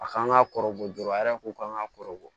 A kan ka kɔrɔbɔ joona a yɛrɛ kun kan ka kɔrɔ bɔ